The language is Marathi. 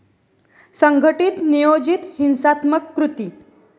संघटित, नियोजित, हिंसात्मक कृती.